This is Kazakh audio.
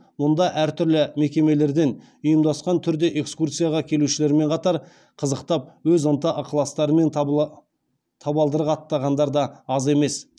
мұнда әртүрлі мекемелерден ұйымдасқан түрде экскурсияға келушілермен қатар қызықтап өз ынта ықыластарымен табалдырық аттағандар да аз емес